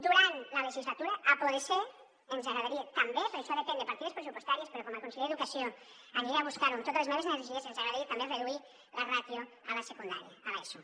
durant la legislatura si pot ser ens agradaria també però això depèn de partides pressupostàries però com a conseller d’educació aniré a buscar ho amb totes les meves energies reduir la ràtio a la secundària a l’eso